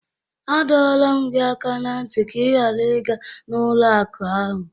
A dọọla m gị aka na ntị ka ị ghara ịga n'ụlọ akụ ahụ!